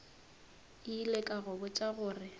ile ka go botša gore